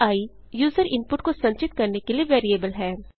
i user input को संचित करने के लिए वेरिएबल है